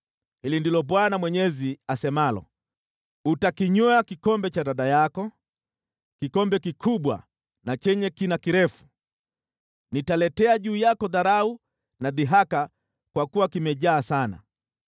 “Hili ndilo Bwana Mwenyezi asemalo: “Utakinywea kikombe cha dada yako, kikombe kikubwa na chenye kina kirefu; nitaletea juu yako dharau na dhihaka, kwa kuwa kimejaa sana.